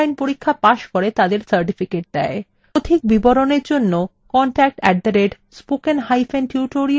অধিক বিবরণের জন্য contact @spokentutorial org তে ইমেল করুন